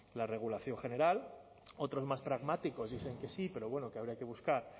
la regulación general otros más pragmáticos dicen que sí pero bueno que habría que buscar